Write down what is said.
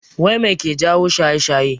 Wai mai yake jawo shaye-shaye?